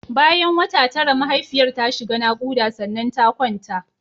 Bayan wata tara mahaifiyar ta shiga naƙuda sannan ta kwanta.